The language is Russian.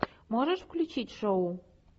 можешь включить шоу